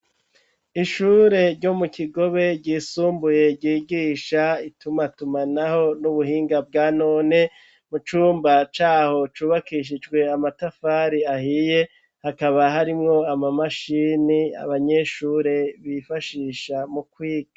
Ishure ryo mu kigobe ryisumbuye ryigisha itumatuma, naho n'ubuhinga bwa none mu cumba caho cubakishijwe amatafari ahiye hakaba harimwo amamashini abanyeshure bifashisha mu kwiga.